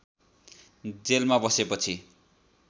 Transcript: जेलमा बसेपछि